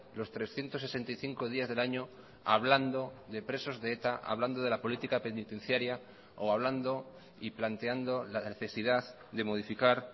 los trescientos sesenta y cinco días del año hablando de presos de eta hablando de la política penitenciaria o hablando y planteando la necesidad de modificar